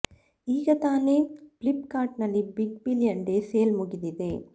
ಈಗ ತಾನೇ Flipkart ನಲ್ಲಿ ಬಿಗ್ ಬಿಲಿಯನ್ ಡೇ ಸೇಲ್ ಮುಗಿದಿದೆ